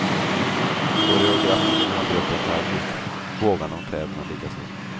Koreografin har gruppen själv gjort, bågarna och kläderna likaså.